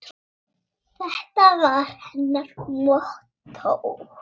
Þetta var hennar mottó.